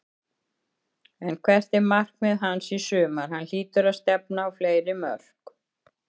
En hvert er markmið hans í sumar, hann hlýtur að stefna á fleiri mörk?